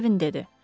Mervin dedi.